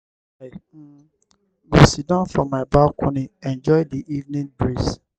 i um go siddon for my balcony enjoy di evening breeze."